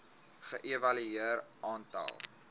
ge evalueer aantal